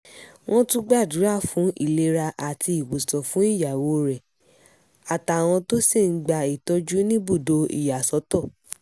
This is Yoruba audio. wọ́n tún gbàdúrà fún ìlera àti ìwòsàn fún ìyàwó rẹ̀ àtàwọn tó sì ń gba ìtọ́jú níbùdó ìyàsọ́tọ̀